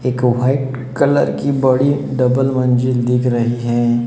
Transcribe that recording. एक white colour की बड़ी डबल मंजिल दिख रही है।